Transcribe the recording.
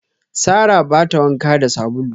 Sarrah ba ta wanka da sabulu.